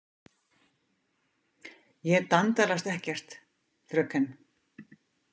Ég dandalast ekkert, fröken.